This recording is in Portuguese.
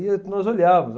E nós olhávamos.